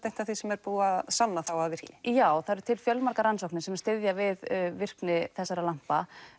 eitt af því sem er búið að sanna að virki já það eru til fjölmargar rannsóknir sem styðja við virkni þessara lampa